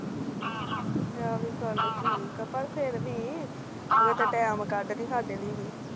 ਉਹ ਵੀ ਗੱਲ ਠੀਕ ਆ ਪਰ ਫਿਰ ਵੀ ਅਗਰ ਤਾ ਟੀਮ ਕੱਢ ਕੇ ਸਾਡੇ ਲਾਇ ਵੀ